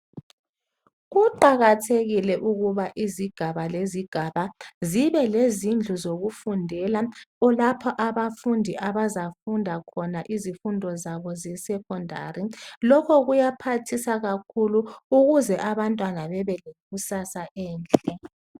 Kuqakathekile ukuba izigaba lezigaba zibe lezindlu zokufundela. Kulapho abafundi abazafunda khona izifundo zabo zeSecondary. Lokho kuyaphathisa kakhulu ukuze abantwana bebe lekusasa enhle.